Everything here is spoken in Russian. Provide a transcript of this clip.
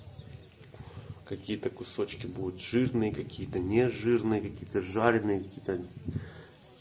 какие-то кусочки будет жирные какие-то нежирные какие-то жареные какие-то